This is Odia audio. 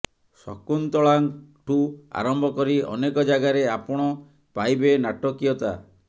ଶକୁନ୍ତଳାଠୁ ଆରମ୍ଭ କରି ଅନେକ ଜାଗାରେ ଆପଣ ପାଇବେ ନାଟକୀୟତା